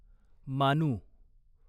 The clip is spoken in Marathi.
मानू